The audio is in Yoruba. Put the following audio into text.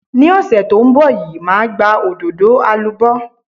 Ní ọ̀sẹ̀ tó ń bọ̀ yìí, màá gba òdòdó alubó.